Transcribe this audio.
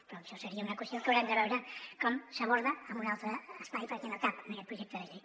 però això seria una qüestió que haurem de veure com s’aborda en un altre espai perquè no cap en aquest projecte de llei